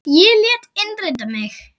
Ég lét innrita mig í